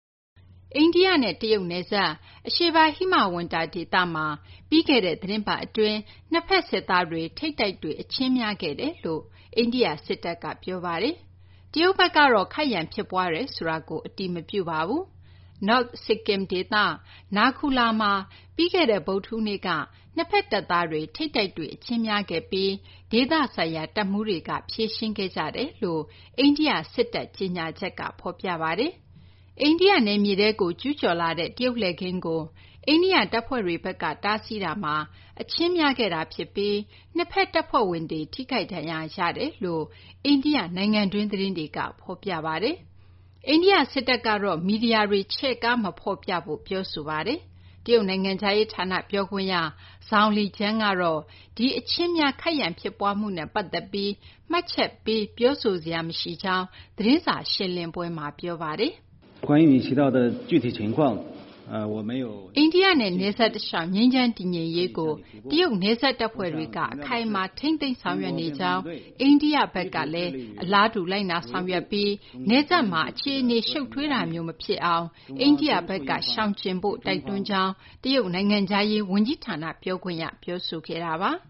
အိန္ဒိယနဲ့ တရုတ် နယ်စပ် အရှေ့ပိုင်း ဟိမဝန္တာ ဒေသမှာ ပြီးခဲ့တဲ့ သီတင်းပတ်အတွင်း နှစ်ဘက် စစ်သားတွေ ထိပ်တိုက်တွေ့ အချင်းဖြစ်ခဲ့တယ်လို့ အိန္ဒိယ စစ်တပ်က ပြောပါတယ်။ တရုတ်ဘက်ကတော့ ခိုက်ရန် ဖြစ်ပွားတယ်ဆိုတာကို အတည်မပြုပါဘူး။ North Sikkim ဒေသ Naku La မှာ ပြီးခဲ့တဲ့ ဗုဒ္ဓဟူးနေ့က နှစ်ဘက် တပ်သားတွေ ထိပ်တိုက်တွေ့ အချင်းများခဲ့ပြီး ဒေသဆိုင်ရာ တပ်မှူးတွေက ဖြေရှင်းခဲ့ကြတယ်လို့ အိန္ဒိယ စစ်တပ်ကြေညာချက်က ဖော်ပြပါတယ်။ အိန္ဒိယ နယ်မြေထဲကို ကျူးကျော်လာတဲ့ တရုတ်လှည့်ကင်းကို အိန္ဒိယ တပ်ဖွဲ့တွေဘက်က တားဆီးတာမှာ အချင်းများခဲ့တာ ဖြစ်ပြီး နှစ်ဘက် တပ်ဖွဲ့ဝင်တွေ ထိခိုက်ဒဏ်ရာရတယ်လို့ အိန္ဒိယ နိုင်ငံတွင်း သတင်းတွေက ဖော်ပြကြပါတယ်။ အိန္ဒိယ စစ်တပ်ကတော့ မီဒီယာတွေက ချဲ့ကား မဖော်ပြဖို့ ပြောဆိုထားပါတယ်။ တရုတ်နိုင်ငံခြားရေး ဌာန ပြောခွင့်ရ Zhao Lijian ကတော့ ဒီအချင်းများ ခိုက်ရန် ဖြစ်ပွားမှုနဲ့ ပတ်သက်ပြီး မှတ်ချက်ပေး ပြောဆိုစရာ မရှိကြောင်း သတင်းစာ ရှင်းလင်းပွဲမှာ ပြောပါတယ်။ အိန္ဒိယနဲ့ နယ်စပ် တလျှောက် ငြိမ်းချမ်း တည်ငြိမ်ရေးကို တရုတ် နယ်စပ် တပ်ဖွဲ့တွေက အခိုင်အမာ ထိန်းသိမ်းဆောင်ရွက်နေကြောင်း၊ အိန္ဒိယဘက်ကလည်း အလားတူ လိုက်နာ ဆောင်ရွက်ဖို့ တရုတ်က တိုက်တွန်းကြောင်း၊ နယ်စပ်တလျှောက် အခြေအနေတွေ ရှုပ်ထွေးစေမယ့် အခြေအနေမျိုး ဖြစ်မလာအောင် အိန္ဒိယဘက်က ရှောင်ကျဉ်ဖို့လည်း တိုက်တွန်းကြောင်း တရုတ်နိုင်ငံခြားရေး ဝန်ကြီးဌာန ပြောခွင့်ရက ပြောဆိုခဲ့တာပါ။